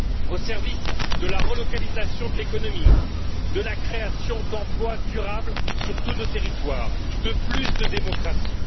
au service de la relocalisation de l'économie, de la création d'emplois durables sur tous nos territoires, de plus de démocratie.